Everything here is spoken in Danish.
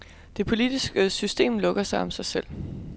Det politiske system lukker sig om sig selv.